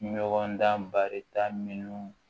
Ɲɔgɔn dan barita minnu